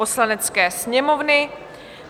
Poslanecké sněmovny